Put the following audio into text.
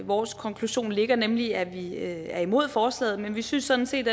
vores konklusion ligger nemlig at vi er imod forslaget men vi synes sådan set